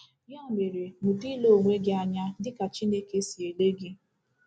Ya mere mụta ile onwe gị anya dị ka Chineke si ele gị.